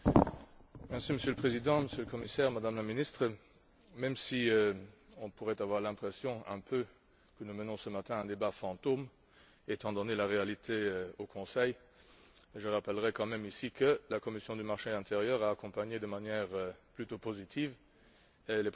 Monsieur le Président, Monsieur le Commissaire, Madame la Ministre, même si on pourrait avoir un peu l'impression que nous menons, ce matin, un débat fantôme, étant donné la réalité au Conseil, je rappellerai quand même que la commission du marché intérieur a accueilli de manière plutôt positive les propositions